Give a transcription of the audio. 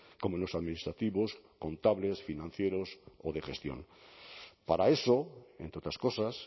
como en los administrativos contables financieros o de gestión para eso entre otras cosas